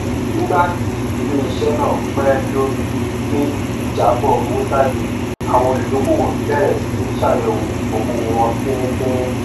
nígbà tí iléiṣẹ náà pẹ lórí gbígbé ìjábọ owó jáde àwọn olùdókòwò bẹrẹ sí í ṣàyẹwò ókòwò wọn fínífíní